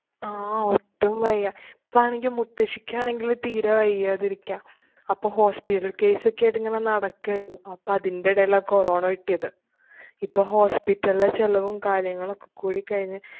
ആഹ് ഒട്ടും വയ്യ. ഇപ്പാണെങ്കി മുത്തശ്ശിക്കാണെങ്കില് തീരെ വയ്യാതിരിക്ക. അപ്പൊ hospital case ക്കേയിട്ട് ഇങ്ങനെ നടക്കേരുന്നു. അപ്പ അതിന്‍റെ എടെലാ കൊറോണ കിട്ടീത്. ഇപ്പൊ hospital ലെ ചെലവും കാര്യങ്ങളൊക്കെ കൂടി കഴിഞ്ഞ്